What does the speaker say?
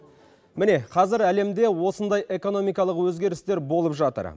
міне қазір әлемде осындай экономикалық өзгерістер болып жатыр